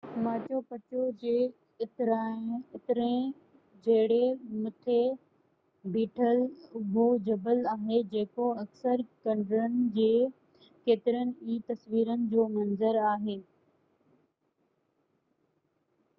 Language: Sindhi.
ماچو پچو جي اترئين ڇيڙي مٿي بيٺل اُڀو جبل آهي جيڪو اڪثر کنڊرن جي ڪيترين ئي تصويرن جو منظر آهي